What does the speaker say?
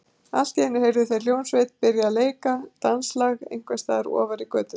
Allt í einu heyrðu þeir hljómsveit byrja að leika danslag einhvers staðar ofar í götunni.